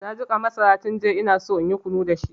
Na jiƙa masara tun jiya inaso inyi kunu dashi.